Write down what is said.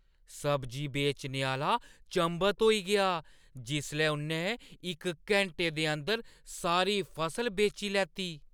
सब्जी बेचने आह्‌ला चंभत होई गेआ जिसलै उʼन्नै इक घैंटे दे अंदर सारी फसल बेची लैती।